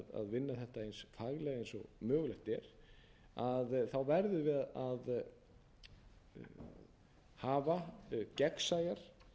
vinna þetta eins faglega eins og mögulegt er verðum við að hafa gegnsæjar